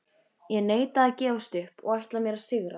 Ég neita að gefast upp og ætla mér að sigra.